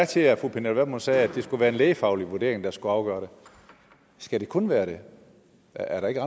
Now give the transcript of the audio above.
til at fru pernille vermund sagde at det skulle være en lægefaglig vurdering der skulle afgøre det skal det kun være det er der ikke